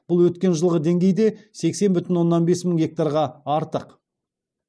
бұл өткен жылғы деңгейден сексен бүтін оннан бес мың гектарға артық